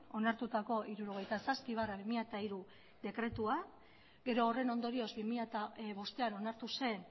onartutako hirurogeita zazpi barra bi mila hiru dekretua gero horren ondorioz bi mila bostean onartu zen